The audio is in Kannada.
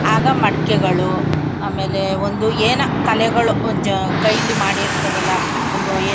ಆಗ ಮಡಿಕೆಗಳು ಆಮೇಲೆ ಒಂದು ಏನೋ ಕಲೆಗಳು ಒಂದು ಕೈಲಿ ಮಾಡಿರುತ್ತಾರಲ್ಲ ಒಂದು--